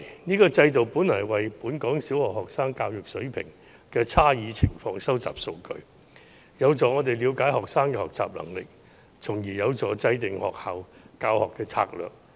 這個制度本來是為本港小學生教育水平的差異情況收集數據，有助我們了解學生的學習能力，從而協助制訂教學策略。